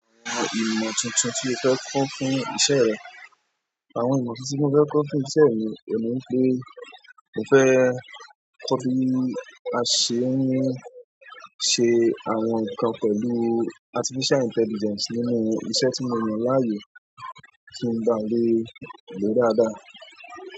Àwọn ìmọ̀ tuntun tí o fẹ́ kọ́ fún iṣẹ́ rẹ. Àwọn ìmọ̀ tuntun tí mo fẹ́ kọ́ fún iṣẹ́ mi, òun ní wípé mo fẹ́ kọ́ bí a ṣe ń ṣe àwọn nǹkan pẹ̀lú artificial intelligence nínú iṣẹ́ tí mo yàn láàyò kí n baà le lòó dáadáa.